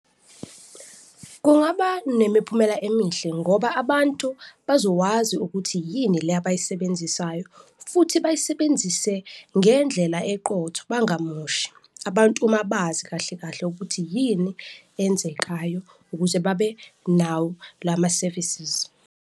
Kungaba nemiphumela emihle ngoba abantu bazowazi ukuthi yini le abayisebenzisayo futhi bayisebenzise ngendlela eqotho, bangamoshi abantu ma bazi kahle kahle ukuthi yini enzekayo ukuze babe nawo lama-services.